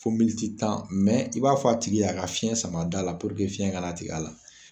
Fo militi tan i b'a fɔ a tigi a ka fiyɛn sama a da la puruke fiyɛn kana tig'a la.